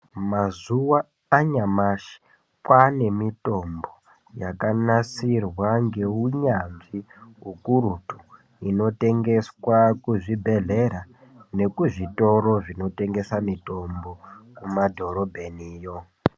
Mazuwa anyamashi kwane mitombo yakanasirwa ngeunyanzvi ukurutu inotengeswa kuzvibhedhleya nekuzvitoro zvinotengese mitombo kumadhorobheniyo.